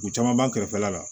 U caman b'an kɛrɛfɛla la